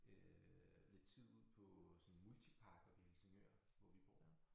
Øh lidt tid ude på sådan en multipark oppe i Helsingør hvor vi bor